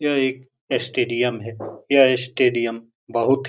यह एक स्टेडियम है यह स्टेडियम बहुत --